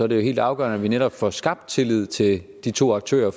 det jo helt afgørende at vi netop får skabt tillid til de to aktører